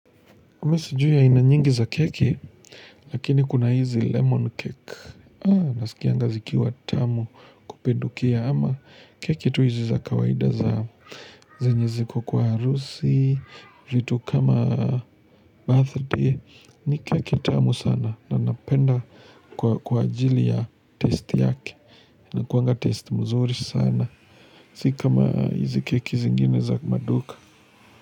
Mi sijiu aina nyingi za keki, lakini kuna hizi lemon cake. Haa, nasikianga zikiwa tamu kupindukia ama keki tu hizi za kawaida za zenye ziko kwa arusi, vitu kama birthday. Ni keki tamu sana na napenda kwa ajili ya taste yake. Inakuanga taste mzuri sana. Sika ma hizi keki zingine za maduka.